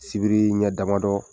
Sibirii ɲɛ damadɔ